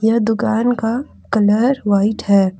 यह दुकान का कलर व्हाइट है।